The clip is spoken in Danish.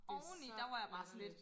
Det så latterligt